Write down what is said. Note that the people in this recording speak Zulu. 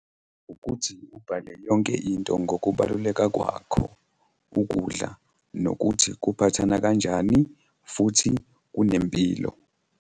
Ukuthi ubhale yonke into ngokubaluleka kwakho ukudla nokuthi kuphathana kanjani futhi kunempilo.